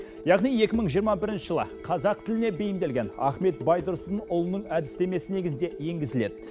яғни екі мың жиырма бірінші жылы қазақ тіліне бейімделген ахмет байтұрсынұлының әдістемесі негізінде енгізіледі